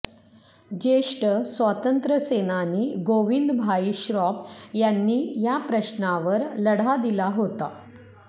ज्येष्ठ स्वातंत्र्य सेनानी गोविंदभाई श्रॉफ यांनी या प्रश्नावर लढा दिलाहोता